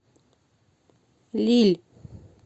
лилль